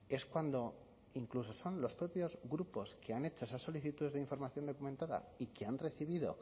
es cuando incluso son los propios grupos que han hecho esas solicitudes de información documentada y que han recibido